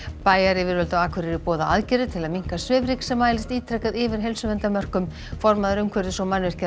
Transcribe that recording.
bæjaryfirvöld á Akureyri boða aðgerðir til að minnka svifryk sem mælist ítrekað yfir heilsuverndarmörkum formaður umhverfis og